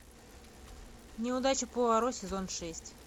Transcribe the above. неудача пуаро сезон шесть